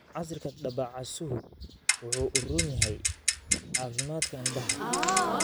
Casiirka dabacasuhu waxa uu u roon yahay caafimaadka indhaha.